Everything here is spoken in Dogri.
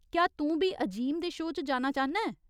क्या तूं बी अजीम दे शो च जाना चाह्न्ना ऐं ?